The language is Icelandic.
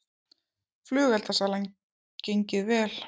Flugeldasalan gengið vel